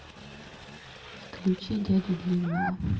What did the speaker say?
включи дядю длинного